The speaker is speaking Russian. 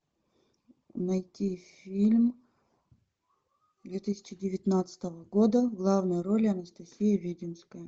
найти фильм две тысячи девятнадцатого года в главной роли анастасия веденская